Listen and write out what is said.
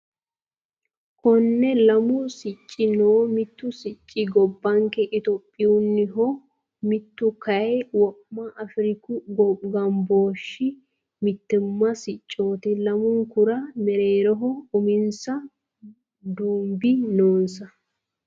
Konne lamu sicci no. Mittu sicci gobbanke itiyophiyunniho. Mittu kayii wo'ma afiriku gambooshshi mittimma siccooti. Lamunkura mereeroho uminsa dumudi noonsa.